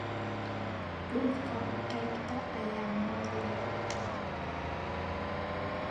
Dhulka qaybtee ayaa mool dheer